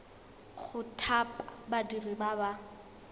go thapa badiri ba ba